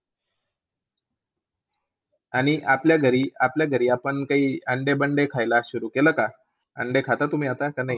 आणि आपल्याघरी आपल्याघरी आपण ते अंडे बंडे खायला सुरु केलं का? काय खाता तुम्ही आता की नाही?